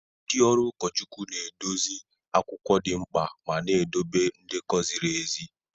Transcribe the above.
Ndị ọrụ ụkọchukwu na-edozi akwụkwọ dị mkpa ma na-edobe ndekọ ziri ezi.